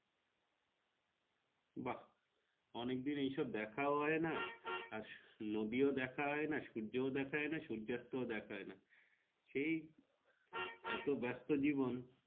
বা অনেক দিন এইসব দেখা হয়না আর নদী ও দেখা ও হয়না সূর্য দেখা হয়না সূর্যঅস্ত দেখা হয়না সেই এত ব্যাস্ত জীবন।